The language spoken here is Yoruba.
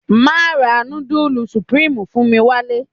Má ra nudulu supirimu fún mi wálé.